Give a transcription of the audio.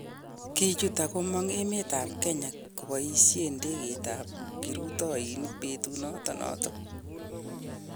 Kichut ak komong' emet ab Kenya koboisen ndegeit ab kirutoinik betut noton noton.